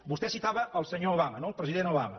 vostè citava el senyor obama no el president obama